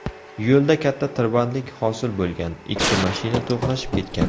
Yo‘lda katta tirbandlik hosil bo‘lgan, ikki mashina to‘qnashib ketgan.